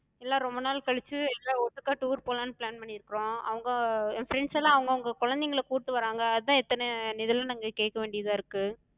எல்லா ரொம்ப நாள் களிச்சு எல்லா ஒட்டுக்கா tour போலானு plan பண்ணிருக்குறோ. அவங்க ஏ friends எல்லா அவங்கவங்க குழந்தைங்கள கூட்டு வராங்க, அதா இத்தன இதுலா நாங்க கேக்க வேண்டிதா இருக்கு.